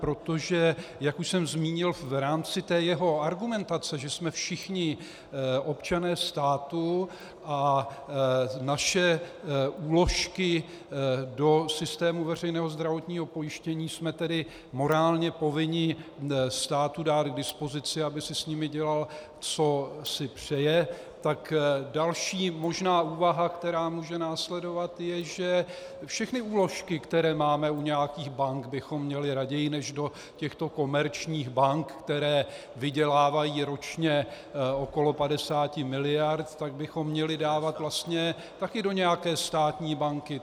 Protože, jak už jsem zmínil, v rámci té jeho argumentace, že jsme všichni občané státu a naše úložky do systému veřejného zdravotního pojištění jsme tedy morálně povinni státu dát k dispozici, aby si s nimi dělal, co si přeje, tak další možná úvaha, která může následovat, je, že všechny úložky, které máme u nějakých bank, bychom měli raději než do těchto komerčních bank, které vydělávají ročně okolo 50 miliard, tak bychom měli dávat vlastně taky do nějaké státní banky.